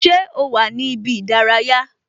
Ṣé o wà ní ibi ìdárayá?